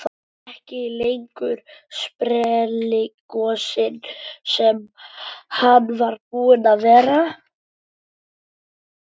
Ekki lengur sprelligosinn sem hann var búinn að vera.